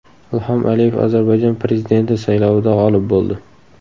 Ilhom Aliyev Ozarbayjon prezidenti saylovida g‘olib bo‘ldi.